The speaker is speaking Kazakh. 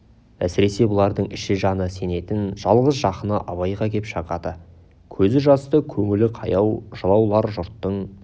әсіресе бұлардың іші жаны сенетін жалғыз жақыны абайға кеп шағады көзі жасты көңілі қаяу жылаулар жұрттың